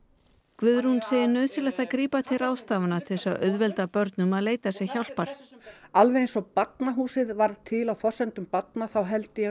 Guðrún segir nauðsynlegt að grípa til ráðstafana til þess að auðvelda börnum að leita sér hjálpar alveg eins og Barnahúsið varð til á forsendum barna þá held ég